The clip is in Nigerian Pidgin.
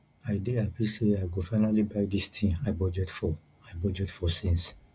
i dey happy say i go finally buy dis thing i budget for i budget for since